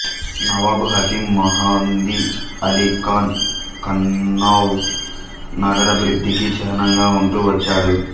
నవాబ్ హకీమ్ మెహందీ అలీ ఖాన్ కన్నౌజ్ నగరాభివృద్ధికి చిహ్నంగా ఉంటూ వచ్చాడు